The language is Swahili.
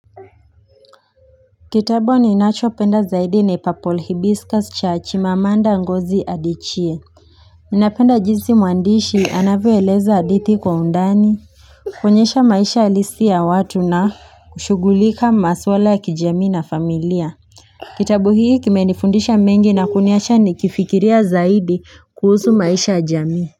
Kitabu ninachopenda zaidi na purple hibiscus cha chimamanda ngozi adichie ninapenda jinsi mwandishi anavyoeleza hadithi kwa undani kuonyesha maisha halisi ya watu na kushughulika maswala ya kijami na familia Kitabu hii kimenifundisha mengi na kuniacha nikifikiria zaidi kuhusu maisha ya jamii.